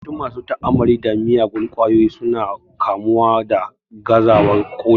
Yawancin masu ta'amalli da miyagun kwayoyi su na kamuwa da gazawar ƙoda